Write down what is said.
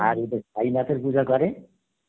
আর এদের পুজো করে